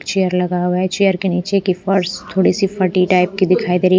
chair लगा हुआ है चेयर के नीचे की फर्स थोड़ी सी फटी टाइप की दिखाई दे रही--